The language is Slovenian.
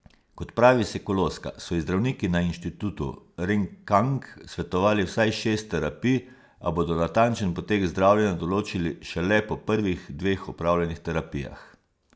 Kot pravi Sekuloska, so ji zdravniki na inštitutu Renkang svetovali vsaj šest terapij, a bodo natančen potek zdravljenja določili šele po prvih dveh opravljenih terapijah.